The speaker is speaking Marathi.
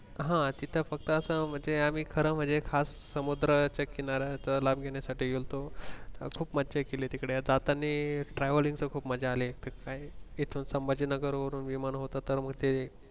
हा तिथे फक्त असं म्हणजे आम्ही खरं म्हणजे खास समुद्राच्या किनाऱ्याचा लाभ घेण्या साठी गेलतो खूप मज्जा केली तिकडे आता आता ते travelling च खूप मज्जा अली तिथून संभाजीनगर वरून विमान उतरतानी ते